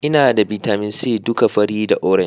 Ina da bitamin c duka fari da orange